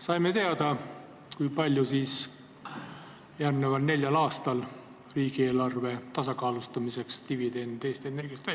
Saime teada, kui palju järgneval neljal aastal riigieelarve tasakaalustamiseks dividendi Eesti Energiast